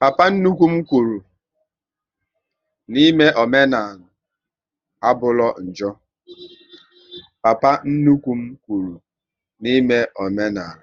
Papa nnukwu m kwụrụ n'ime omenala